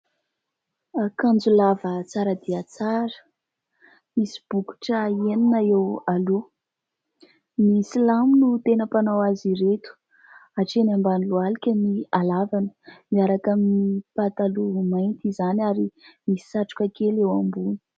Akanjo lava tsara dia tsara, misy bokotra enina eo aloha. Ny Silamo no tena mpanao azy ireto. Hatreny ambany lohalika ny halavana, miaraka amin'ny pataloha mainty izany ary misy satroka kely eo ambony.